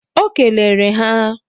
O kelere ha